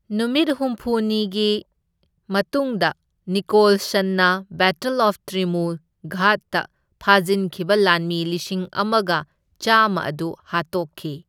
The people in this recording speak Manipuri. ꯅꯨꯃꯤꯠ ꯍꯨꯝꯅꯤꯒꯤ ꯃꯇꯨꯡꯗ ꯅꯤꯀꯣꯜꯁꯟꯅ ꯕꯦꯇꯜ ꯑꯣꯐ ꯇ꯭ꯔꯤꯝꯃꯨ ꯘꯥꯠꯇ ꯐꯥꯖꯤꯟꯈꯤꯕ ꯂꯥꯟꯃꯤ ꯂꯤꯁꯤꯡ ꯑꯃꯒ ꯆꯥꯝꯃ ꯑꯗꯨ ꯍꯥꯠꯇꯣꯛꯈꯤ꯫